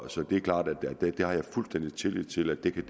så det er klart at det har jeg fuldstændig tillid til at de